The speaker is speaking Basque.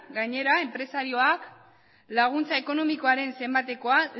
gainera enpresarioak laguntza ekonomikoaren zenbateko